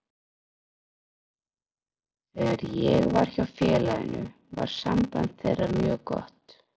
Þegar ég var hjá félaginu var samband þeirra mjög gott.